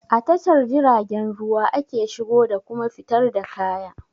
A tashar jiragen ruwa ake shigo da kuma fitar da kaya